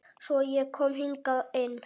Svo ég kom hingað ein.